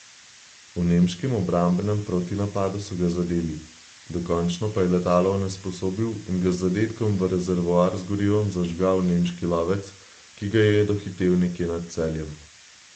V nemškem obrambnem protinapadu so ga zadeli, dokončno pa je letalo onesposobil in ga z zadetkom v rezervoar z gorivom zažgal nemški lovec, ki ga je dohitel nekje nad Celjem.